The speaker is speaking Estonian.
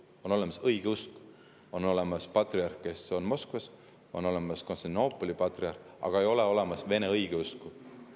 On olemas õigeusk, on olemas patriarh, kes on Moskvas, on olemas Konstantinoopoli patriarh, aga ei ole olemas Vene õigeusku.